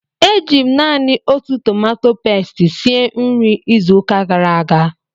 Eji m naanị otu tomato pasti sie nri izuụka gara aga